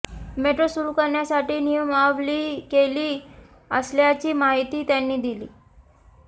metro सुरू करण्यासाठी नियमावली केली असल्याची माहितीही त्यांनी दिली